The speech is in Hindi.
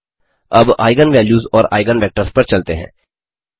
अब आइगन वैल्यूज़ और आइगन वेक्टर्स पर चलते हैं